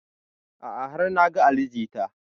A'a har na ga ali jita